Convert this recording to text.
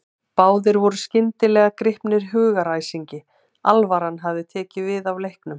Báðir voru skyndilega gripnir hugaræsingi, alvaran hafði tekið við af leiknum.